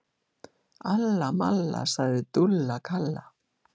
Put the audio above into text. Alla malla, sagði Dúlla Kalla.